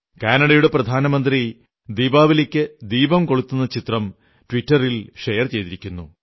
കാനഡയുടെ പ്രധാനമന്ത്രി ദീപാവലിക്ക് ദീപം കൊളുത്തുന്ന ചിത്രം ട്വിറ്ററിൽ ഷെയർ ചെയ്തിരിക്കുന്നു